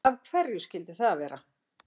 Af hverju skyldi það vera?